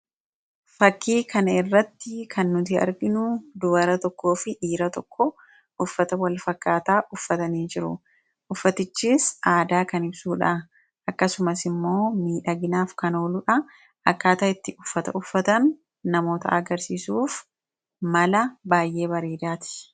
fakkii kana irratti kan nuti arginu dubara tokkoo fi dhiira tokko uffata wal fakkaataa uffatanii jiru. uffatichis aadaa kan ibsuudha. akkasumas immoo miidhaginaaf kan ooluudha. akkaataa itti uffata uffatan namootatti agarsiisuuf mala baay'ee bareedaati.